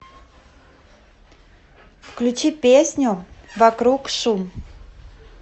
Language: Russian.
включи песню вокруг шум